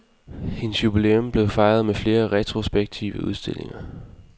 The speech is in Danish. Hendes jubilæum blev fejret med flere retrospektive udstillinger.